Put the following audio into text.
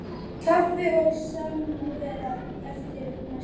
Kaffi og samvera eftir messu.